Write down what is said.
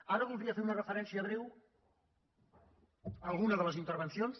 ara voldria fer una referència breu a alguna de les intervencions